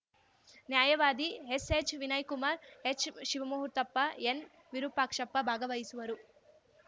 ನ್ಯಾಯವಾದಿ ಎಸ್‌ಎಚ್‌ವಿನಯ್ ಕುಮಾರ್ ಎಚ್‌ಶಿವಮೂರ್ತಪ್ಪ ಎನ್‌ವಿರುಪಾಕ್ಷಪ್ಪ ಭಾಗವಹಿಸುವರು